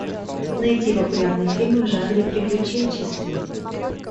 найти популярные фильмы в жанре приключенческий